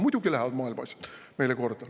Muidugi lähevad maailma asjad meile korda.